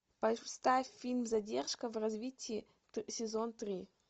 поставь фильм задержка в развитии сезон три